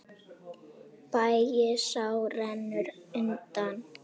Bægisá rennur undan.